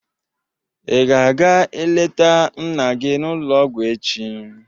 Ị ga aga-eleta nna gị n'ụlọ ọgwụ echi?